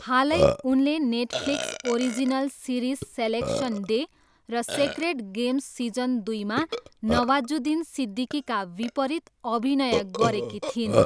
हालै, उनले Netflix original series Selection Day र सेक्रेड गेम्स सिजन दुईमा नवाजुद्दिन सिद्दिकीका विपरीत अभिनय गरेकी थिइन्।